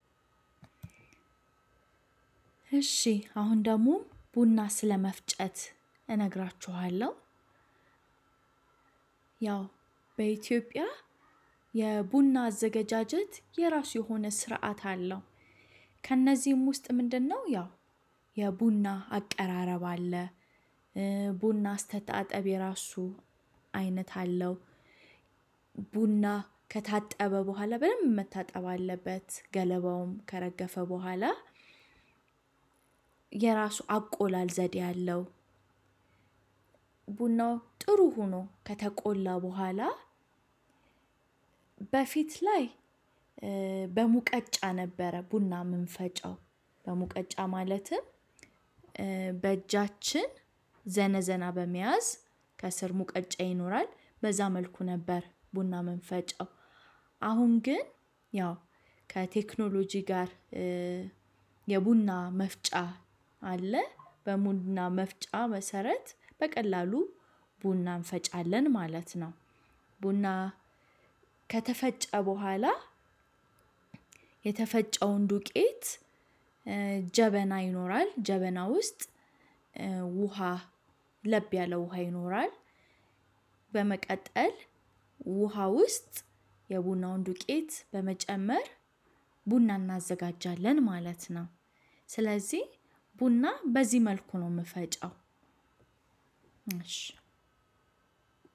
እሺ አሁን ደግሞ ቡና ስለመፍጨት እነግራችኋለሁ። ያው በኢትዮጵያ የቡና አዘጋጃጀት የራሱ የሆነ ስርዓት አለው። ከእነዚህም ውስጥ ምንድነው፤ ያው የቡና አቀራረብ አለ። ቡና አስተጠጣብ የራሱ አይነት አለው። ቡና ከታጠበ በኋላ በደንብ መታጠብ አለበት ገለባውም ከረገፈ በኋላ የራሱ አቆላል ዘዴ አለው። ቡናው ጥሩ ሆኖ ከተቆላ በኋላ፤ በፊት ላይ በሙቀጫ ነበረ ቡና ምንፈጨው በሙቀጫ ማለት በእጃችን ዘነዘና በመያዝ ከስር ሙቀጫ ይኖራል በዛ መልኩ ነበር ቡና የምንፈጫው አሁን ግን ያው ከቴክኖሎጂ ጋር የቡና መፍጫ አለ፤ በቡና መፍጫ መሰረት በቀላሉ ቡናን እንፈጫለን ማለት ነው። ቡና ከተፈጨ በኋላ የተፈጨውን ዱቄት፤ ጀበና ይኖራል፣ ጀበና ውስጥ ውሃ ለብ ያለ ውሃ ይኖራል። በመቀጠል ውሃ ውስጥ የቡናውን ዱቄት በመጨመር፤ ቡና እናዘጋጃለን ማለት ነው። ስለዚህ ቡና በዚህ መልኩ ነው የምፈጨው። እሺ